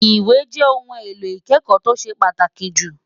Ìwé jẹ́ ohun èlò ìkẹ́kọ̀ọ́ tó ṣe pàtàkì jù.